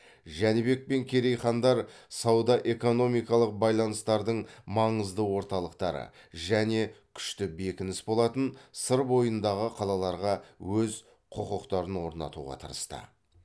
жәнібек пен керей хандар сауда экономикалық байланыстардың маңызды орталықтары және күшті бекініс болатын сыр бойындағы қалаларға өз құқықтарын орнатуға тырысты